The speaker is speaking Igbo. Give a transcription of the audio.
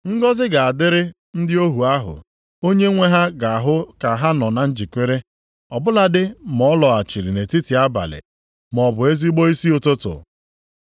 Ngọzị ga-adịrị ndị ohu ahụ onye nwe ha ga-ahụ ka ha nọ na njikere, ọ bụladị ma ọ lọghachiri nʼetiti abalị, maọbụ nʼezigbo isi ụtụtụ.